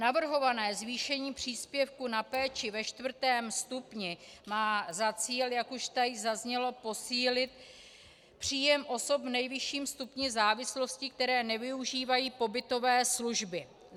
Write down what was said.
Navrhované zvýšení příspěvku na péči ve čtvrtém stupni má za cíl, jak už tady zaznělo, posílit příjem osob v nejvyšším stupni závislosti, které nevyužívají pobytové služby.